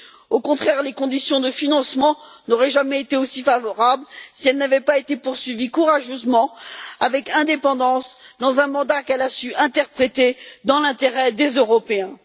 Au contraire, les conditions de financement n'auraient jamais été aussi favorables si elles n'avaient pas été poursuivies courageusement, avec indépendance, dans le cadre d'un mandat qu'elle a su interpréter dans l'intérêt des Européens.